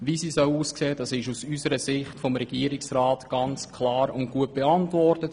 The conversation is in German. Das wurde vom Regierungsrat aus unserer Sicht ganz klar und gut beantwortet.